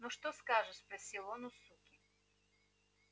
ну что скажешь спросил он у суки